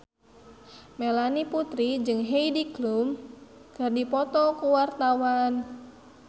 Melanie Putri jeung Heidi Klum keur dipoto ku wartawan